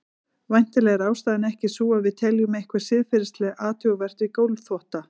Væntanlega er ástæðan ekki sú að við teljum eitthvað siðferðilega athugavert við gólfþvotta.